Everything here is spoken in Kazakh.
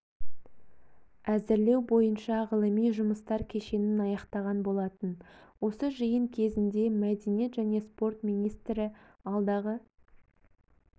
әзірлеу бойынша ғылыми жұмыстар кешенін аяқтаған болатын осы жиын кезінде мәдениет және спорт министрі алдағы